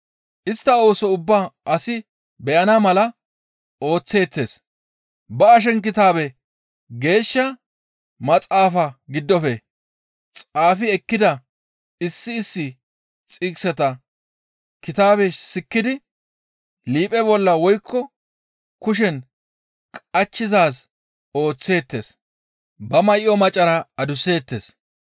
Istta ooso ubbaa asi beyana mala ooththeettes; ba ashenkitaabe Geeshsha Maxaafa giddofe xaafi ekkida issi issi xiqiseta kitabe sikkidi liiphe bolla woykko kushen qachchizaaz ooththeettes. Ba may7o macara adusseettes.